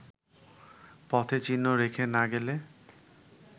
পথে চিহ্ন রেখে না গেলে